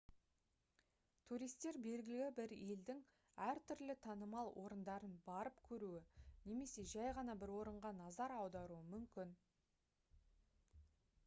туристер белгілі бір елдің әртүрлі танымал орындарын барып көруі немесе жай ғана бір орынға назар аударуы мүмкін